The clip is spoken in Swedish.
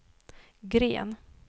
Gren